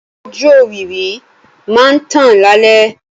Ojú òwìwí máa ń tàn lálẹ́.